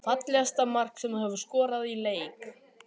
Fallegasta mark sem þú hefur skorað í leik?